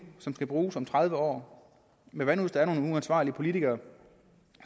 som skal bruges om tredive år men hvad nu hvis der er nogle uansvarlige politikere